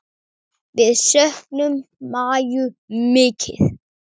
Við söknum Maju mikið.